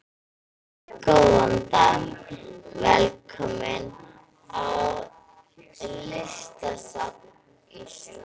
Góðan dag. Velkomin á Listasafn Íslands.